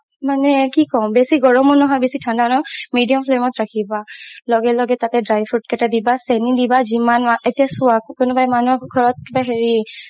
মানে কি কও বেচি গৰমও নহয় বেচি ঠাণ্ডা নহয় medium flame ত ৰাখিবা লগে লগে তাতে dry fruit কেইটা দিবা চেনি দিবা জিমান এতিয়া চোৱা কোনোবা মানুহৰ ঘৰত এতিয়া হেৰি